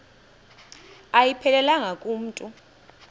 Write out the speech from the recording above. ayiphelelanga ku mntu